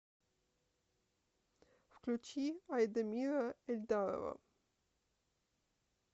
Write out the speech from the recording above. включи айдамира эльдарова